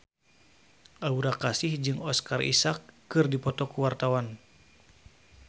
Aura Kasih jeung Oscar Isaac keur dipoto ku wartawan